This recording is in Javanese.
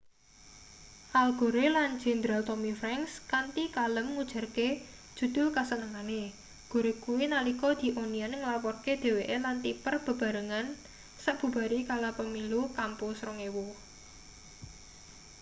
al gore lan jenderal tommy franks kanthi kalem ngujarke judul kasenengane gore kuwi nalika the onion nglaporke dheweke lan tipper bebarengan sabubare kalah pemilu kampus 2000